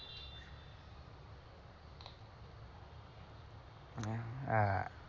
আ,